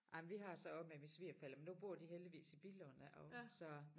Ej men vi har så også med mine svigerforældre men nu bor de heldigvis i Billund ja og så